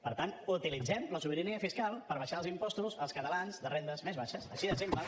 per tant utilitzem la sobirania fiscal per abaixar els impostos als catalans de rendes més baixes així de simple